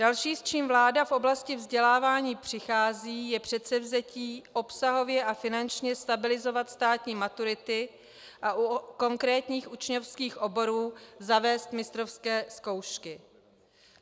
Další, s čím vláda v oblasti vzdělávání přichází, je předsevzetí obsahově a finančně stabilizovat státní maturity a u konkrétních učňovských oborů zavést mistrovské zkoušky.